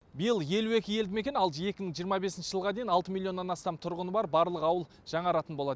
биыл елу екі елдімекен ал екі мың жиырма бесінші жылға дейін алты миллионнан астам тұрғыны бар барлық ауыл жаңаратын болады